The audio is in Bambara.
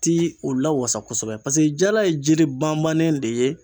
Ti u lawasa kosɛbɛ paseke jala ye jiri bamannen de ye